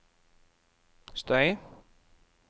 støy